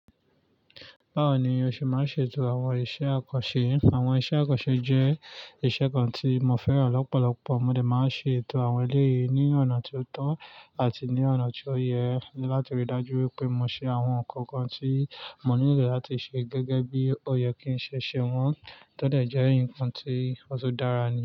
Báwo ni o ṣe máa ṣe ètò àwọn iṣẹ́ àkànṣe? Àwọn iṣẹ́ àkànṣe jẹ́ iṣẹ́ kan tí mo fẹ́ràn lọ́pọ̀lọpọ̀. Mode máa ṣe ètò àwọn eléyìí ní ọ̀nà tó tọ́ àti ní ọ̀nà tí ó yẹ láti ríi dájú wípé mo ṣe àwọn nǹkan kan tí mò nílò láti ṣe gẹ́gẹ́ bí ó yẹ kí ń ṣe ṣe wọ́n, tọ́dẹ̀ jẹ́ nǹkan tí ó tun dára ni.